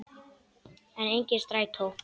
En, enginn strætó!